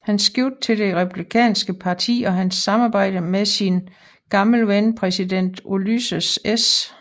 Hans skifte til det Republikanske Parti og hans samarbejde med sin gamle ven præsident Ulysses S